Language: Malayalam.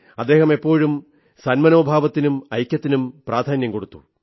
അദ്ദേഹം എപ്പോഴും സന്മനോഭാവത്തിനും ഐക്യത്തിനും പ്രാധാന്യം കൊടുത്തു